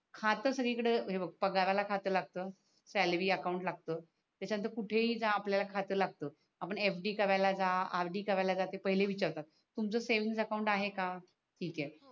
खातच इकड हे बग पगाराला खात लागत सॅलरी अकाउन्ट लागत त्याच्या नंतर कुठ ही जा आपल्याला खात लागत आपण FD करायला जा RD करायला जा ते पहिले विचारतात तुमच सेव्हिंग अकाउंट आहे का ठीक आहे?